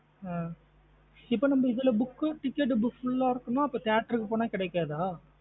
அஹ் இப்ப நம்ம இதுல book ticket book full அஹ் இருக்குன. அப்ப theatre போன கிடைக்காத?